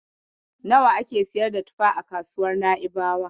Nawa ake siyar da tufa a kasuwar Na'ibawa?